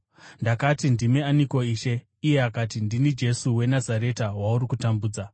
“Ndakati, ‘Ndimi aniko, Ishe?’ “Iye akati, ‘Ndini Jesu weNazareta, wauri kutambudza.’